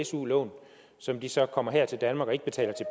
su lån som de så kommer her til danmark og ikke betaler